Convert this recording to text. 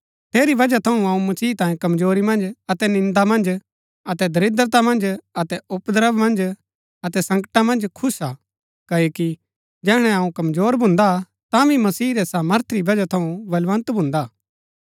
ठेरी वजह थऊँ अऊँ मसीह तांयें कमजोरी मन्ज अतै निन्दा मन्ज अतै दरिद्रता मन्ज अतै उपद्रव मन्ज अतै संकटा मन्ज खुश हा क्ओकि जैहणै अऊँ कमजोर भून्दा तांभी मसीह रै सामर्थ री वजह थऊँ बलवन्त भून्दा